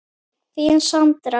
Þín Sandra.